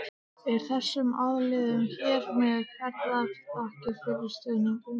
Eru þessum aðilum hér með færðar þakkir fyrir stuðninginn.